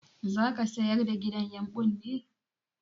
Zaka sayar da gidan yumɓun ne?